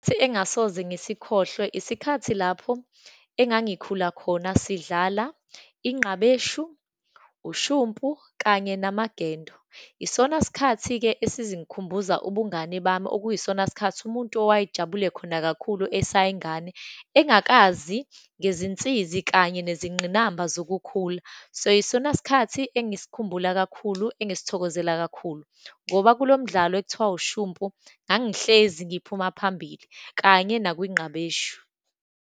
engasoze ngisikhohlwe, isikhathi lapho engangikhula khona, sidlala inqabeshu, ushumpu, kanye namagendo. Isona sikhathi-ke esizingikhumbuza ubungane bami, okuyisona sikhathi umuntu owayejabule khona kakhulu, esayingane, engakazi ngezinsizi, kanye nezingqinamba zokukhula. So, yisona sikhathi engisikhumbulayo kakhulu, engisithokozela kakhulu, ngoba kulomdlalo ekuthiwa ushumpu ngangihlezi ngiphuma phambili, kanye nakunqabeshu.